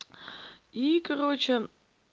и короче